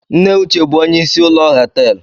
Nne uche bu onye isi ụlọ họtelụ